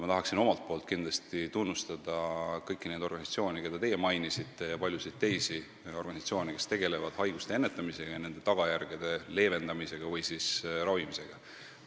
Ma tahaksin kindlasti tunnustada kõiki neid organisatsioone, keda teie mainisite, ja paljusid teisi, kes tegelevad haiguste ennetamisega ja nende tagajärgede leevendamise või ravimisega.